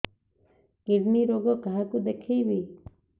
kidney ରୋଗ କାହାକୁ ଦେଖେଇବି